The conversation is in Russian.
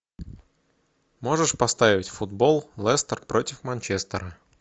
можешь поставить футбол лестер против манчестера